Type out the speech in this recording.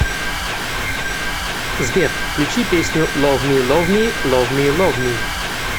сбер включи песню лов ми лов ми лов ми лов ми